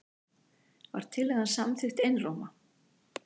Var tillagan samþykkt einróma.